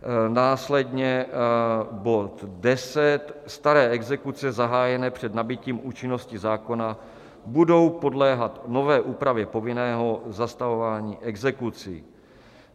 Následně bod 10 - staré exekuce zahájené před nabytím účinnosti zákona budou podléhat nové úpravě povinného zastavování exekucí.